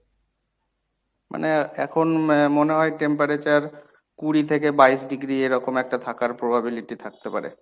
মানে এখন ম~ মনে হয় temperature কুড়ি থেকে বাইশ degree এরকম একটা থাকার probability থাকতে পারে।